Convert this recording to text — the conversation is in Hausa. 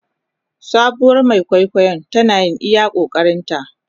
Sabuwar Mai kwaikwayon tana yin iya ƙoƙarinta.